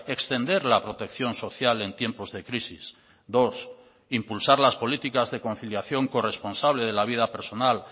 extender la protección social en tiempos de crisis dos impulsar las políticas de conciliación corresponsable de la vida personal